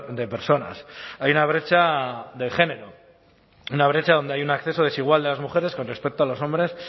de personas hay una brecha de género una brecha donde hay un acceso desigual de las mujeres con respecto a los hombres